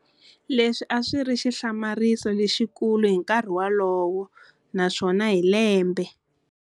Leswi aswiri xihlamariso lexikulu hi nkarhi wolowo, naswona hi lembe.